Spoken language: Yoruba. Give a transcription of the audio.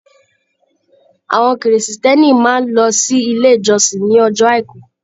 Àwọn Kìrìsìtẹ́ẹ́nì máa ń lọ sí ilé ìjọsìn ní ọjọ́ Àìkú.